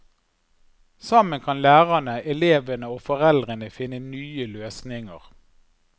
Sammen kan lærerne, elevene og foreldrene finne nye løsninger.